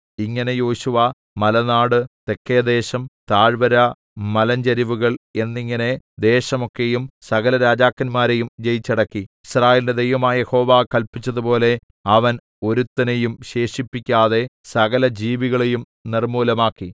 ഇങ്ങനെ യോശുവ മലനാട് തെക്കേദേശം താഴ്‌വര മലഞ്ചരിവുകൾ എന്നിങ്ങനെ ദേശം ഒക്കെയും സകല രാജാക്കന്മാരെയും ജയിച്ചടക്കി യിസ്രായേലിന്റെ ദൈവമായ യഹോവ കല്പിച്ചതുപോലെ അവൻ ഒരുത്തനെയും ശേഷിപ്പിക്കാതെ സകലജീവികളെയും നിർമ്മൂലമാക്കി